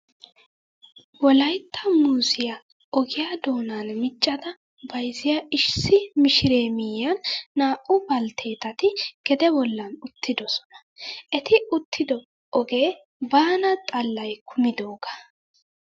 Wolayitta muuzziyaa ogiyaa doonan miccada bayizziyaa issi mishire miyyiyaan naa'u baltteetati gede bollan uttidosona. eti uttido ogee baana xallayi kumidoogaa.